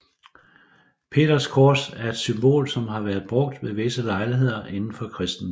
Peterskors er et symbol som har været brugt ved visse lejligheder inden for kristendommen